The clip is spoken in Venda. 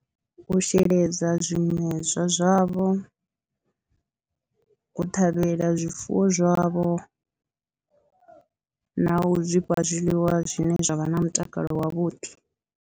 U sheledza zwimedzwa zwavho, u ṱhavhela zwifuwo zwavho na u zwi fha zwiḽiwa zwine zwa vha na mutakalo wavhuḓi.